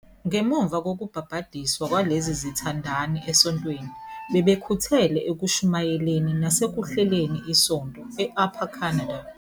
Ngemuva kokubhabhadiswa kwalezi zithandani esontweni, bebekhuthele ekushumayeleni nasekuhleleni isonto e-Upper Canada.